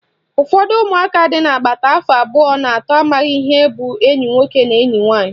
Ụfọdụ umụaka dị agbata afọ abụọ na atọ amaghị ihe bụ enyi nwoke na enyi nwaanyị